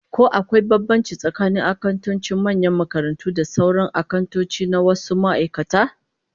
Ko akwai bambanci tsakanin akantocin manyan makarantu da sauran akantoci na wasu ma'aikatu?